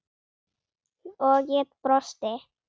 og ég brosti.